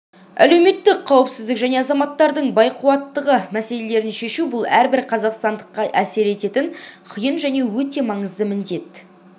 әлеуметтік қауіпсіздік және азаматтардың байқуаттығы мәселелерін шешу бұл әрбір қазақстандыққа әсер ететін қиын және өте маңызды міндет